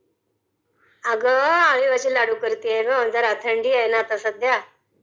अग, अळीवाचे लाडू करतेय ग जरा...थंडी आहे ना जरा सध्या